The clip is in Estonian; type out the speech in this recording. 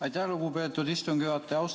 Aitäh, lugupeetud istungi juhataja!